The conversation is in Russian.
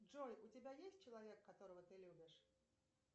джой у тебя есть человек которого ты любишь